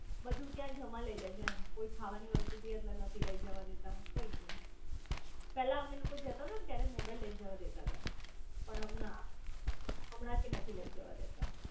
બધું ત્યાં જમા લઇ લે છે એમકોઈ ખાવાની વસ્તુ બી અંદર નથી લઇ જવા દેતા કંઈજ નઈ પેલા અમે લોકો જતા તા ને ત્યારે મોબાઇ લઇ જવા દેતા તા પણ ના હમણાં થી નથી લઇ જવા દેતા